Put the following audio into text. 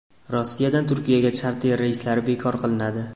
Rossiyadan Turkiyaga charter reyslari bekor qilinadi.